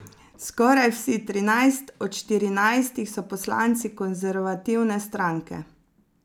Skoraj vsi, trinajst od štirinajstih, so poslanci konservativne stranke.